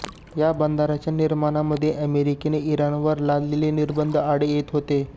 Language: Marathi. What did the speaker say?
या बंदराच्या निर्माणामध्ये अमेरिकेने इराणवर लादलेले निर्बंध आड येत होते